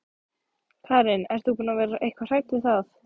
Karen: Ert þú búin að vera eitthvað hrædd við það?